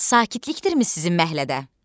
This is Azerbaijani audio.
Sakitlikdirmi sizin məhəllədə?